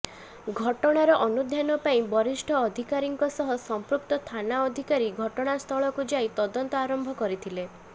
ଘଟଣାର ଅନୁଧ୍ୟାନ ପାଇଁ ବରିଷ୍ଠ ଅଧିକାରୀଙ୍କ ସହ ସମ୍ପୃକ୍ତ ଥାନା ଅଧିକାରୀ ଘଟଣାସ୍ଥଳକୁ ଯାଇ ତଦନ୍ତ ଆରମ୍ଭ କରିଥିଲେ